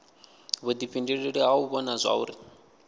vhuifhinduleli ha u vhona zwauri